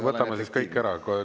Võtame siis kõik ära.